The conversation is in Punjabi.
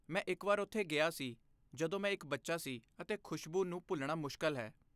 ਮੈਂ ਇੱਕ ਵਾਰ ਉੱਥੇ ਗਿਆ ਸੀ ਜਦੋਂ ਮੈਂ ਇੱਕ ਬੱਚਾ ਸੀ ਅਤੇ ਖੁਸ਼ਬੂ ਨੂੰ ਭੁੱਲਣਾ ਮੁਸ਼ਕਲ ਹੈ